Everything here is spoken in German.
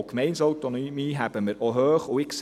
Die Gemeindeautonomie halten wir hoch.